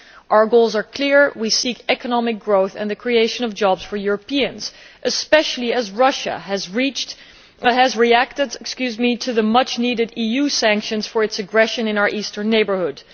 Our goals are clear we seek economic growth and the creation of jobs for Europeans, especially as Russia has reacted to the much needed EU sanctions for its aggression in our Eastern Neighbourhood.